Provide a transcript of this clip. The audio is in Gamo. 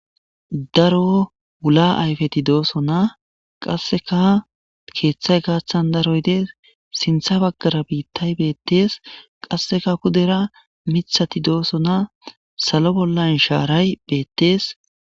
Daro wula ayfeti dosona qasekka kethay gathan daroy des sintha bagara bitay betese qasekka pudera mithati dosona salo bollan sharay betese